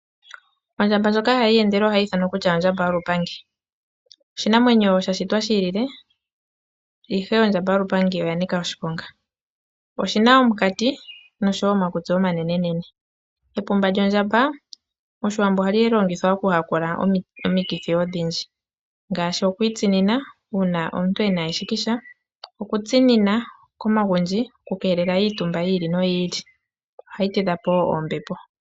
Ondjamba ndjoka hai eyendele ohai ithanwa kutya ondjamba yolupandi . Oshinamwenyo sha shitwa shi ilile, ihe ondjamba yolupandi oya nika oshiponga . Oshi na omukati noshowo omakutsi omanenene . Epumba lyondjamba mOshiwambo ohali longithwa mokuyakula omikithi odhindji ngaashi okwiitsinina uuna omuntu e na eshikisha , okutsinina komagundji okukeelela iitumba yi ili noyi ili, ohali tidha po wo oombepo.